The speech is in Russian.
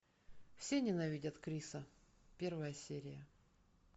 все ненавидят криса первая серия